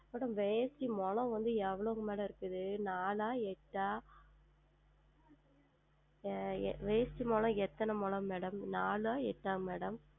Madam வேட்டி முழம் வந்து எவ்வளவு Madam இருக்கிறது நான்க எட்ட ஆஹ் வேட்டி முழம் எத்தனை முழம் Madam நான்க எட்ட